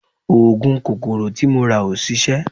Oògùn kòkòrò tí mo rà ò ṣiṣẹ́